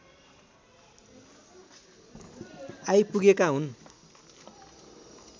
I पुगेका हुन्